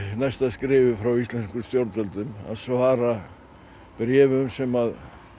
næsta skrefi frá íslenskum stjórnvöldum að svara bréfum sem